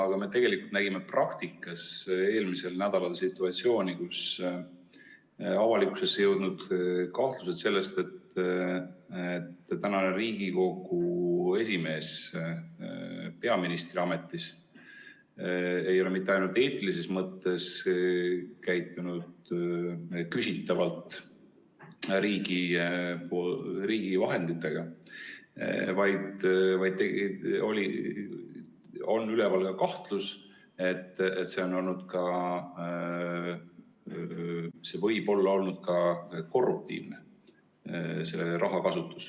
Aga me tegelikult nägime praktikas eelmisel nädalal situatsiooni, kus avalikkusesse jõudnud kahtlused sellest, et praegune Riigikogu esimees ei ole peaministri ametis olles mitte ainult eetilises mõttes käitunud küsitavalt riigi vahenditega, vaid on üleval ka kahtlus, et see rahakasutus võib olla olnud ka korruptiivne.